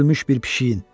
Ütülmüş bir pişiyin.